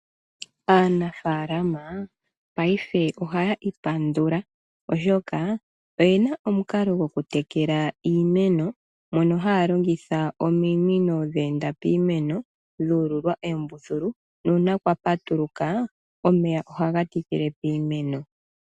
Aanafalama paife ohaya ipandula oshoka oyena omukalo goku tekela iimeno mono haa longitha ominino dhu ululwa oombuthulu nuuna kwa patuluka omeya ohaga tikile kiimeno.